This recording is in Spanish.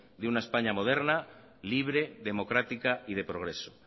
de una españa moderna libre democrática y de progreso